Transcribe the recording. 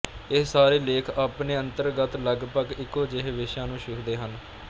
ਇਹ ਸਾਰੇ ਲੇਖ ਆਪਣੇ ਅੰਤਰਗਤ ਲਗਪਗ ਇੱਕੋ ਜਿਹੇ ਵਿਸ਼ਿਆਂ ਨੂੰ ਛੁਹਦੇ ਹਨ